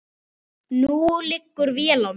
Nú liggur vél á mér